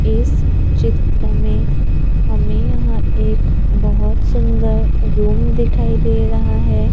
इस चित्र में हमें यहां एक बहोत सुंदर रूम दिखाई दे रहा है।